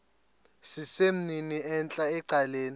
sesimnini entla ecaleni